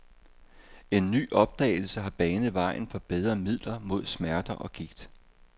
En ny opdagelse har banet vejen for bedre midler mod smerter og gigt.